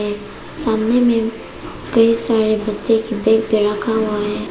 सामने में कई सारे बच्चे के बैग पे रखा हुआ है।